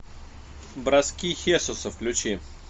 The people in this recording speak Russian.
броски хесуса включи